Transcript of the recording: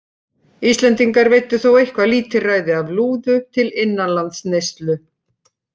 Íslendingar veiddu þó eitthvað lítilræði af lúðu til innanlandsneyslu.